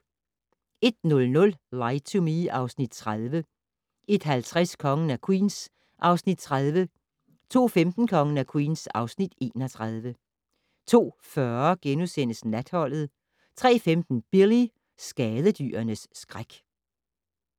01:00: Lie to Me (Afs. 30) 01:50: Kongen af Queens (Afs. 30) 02:15: Kongen af Queens (Afs. 31) 02:40: Natholdet * 03:15: Billy - skadedyrenes skræk